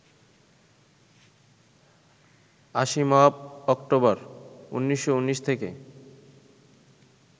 Asimov October, ১৯১৯ থেকে